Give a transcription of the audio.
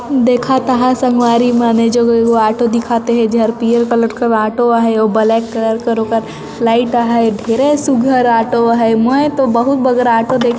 देखा ता हैं संगवारी मने जो ऑटो दिखा थे जहर पीहूर कलर के ऑटो आहे अऊ बलैक कलर का ओकर लाइट आ हैं ढेरों सुघघर ऑटो आ हैं मै तो बहुत बगर ऑटो देखे--